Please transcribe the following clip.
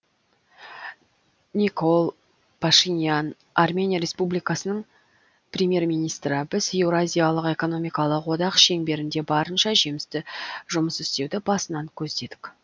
никол пашинян армения республикасының премьер министрі біз еуразиялық экономикалық одақ шеңберінде барынша жемісті жұмыс істеуді басынан көздедік